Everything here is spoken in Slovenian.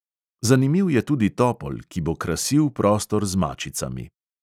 Zanimiv je tudi topol, ki bo krasil prostor z mačicami.